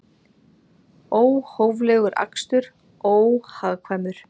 Óhóflegur akstur óhagkvæmur